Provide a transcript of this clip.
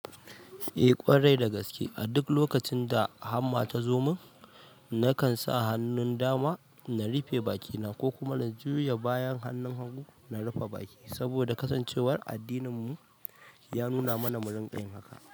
Eh ƙwarai da gaske, a duk lokacin da hamma ta zo mun nakan sa hannun dama na rufe bakina ko kuma na juya bayan hannun hagu na rufe baki saboda kasancewar addininmu ya nuna mana mu rinƙa yin haka.